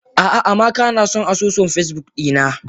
Ah ah amaka nason asusun Facebook dina.